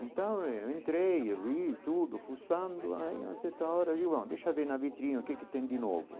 Então eu entrei, eu vi tudo, fuçando, aí a certa hora eu ah, deixa eu ver na vitrina o que que tem de novo.